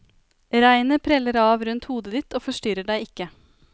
Regnet preller av rundt hodet ditt og forstyrrer deg ikke.